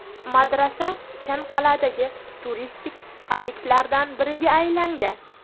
Madrasa Ichanqal’adagi turistik obyektlardan biriga aylangan.